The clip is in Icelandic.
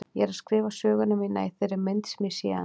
Ég er að skrifa söguna mína í þeirri mynd sem ég sé hana.